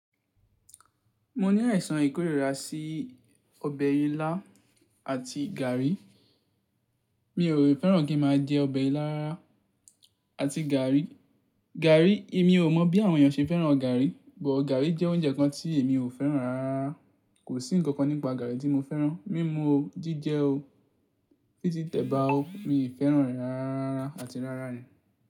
Mo ní àìsàn ìkórìíra sí ọbẹ̀ ilá àti gàrí. Mi ò fẹ́ràn kí n máa jẹ ọbẹ̀ ilá rara àti gàrí. Gàrí, èmi ò mọ̀ bí àwọn èèyàn ṣe fẹ́ràn gàrí, bọ̀ gàrí jẹ́ oúnjẹ kan tí èmi ò fẹ́ràn rárá. Kò sí ǹkankan nípa gàrí tí mo fẹ́ràn. Mímu ò, jíjẹ ò, fí ti tẹ̀bà ò, mi fẹ́ràn rẹ̀ rárá àti rárá ni.